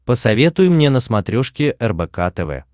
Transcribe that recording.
посоветуй мне на смотрешке рбк тв